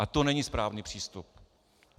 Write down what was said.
A to není správný přístup.